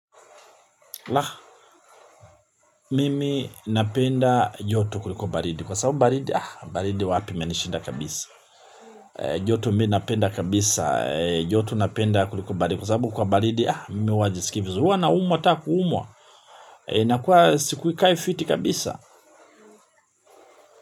La, mimi napenda joto kuliko baridi. Kwa sababu baridi, baridi wapi imenishinda kabisa. E, joto mimi napenda kabisa, e, joto napenda kuliko baridi. Kwa sababu kwa baridi, ah, mimi huwa jisikii vizuri. Huwa naumwa hata kuumwa. Inakua siku kai fiti kabisa.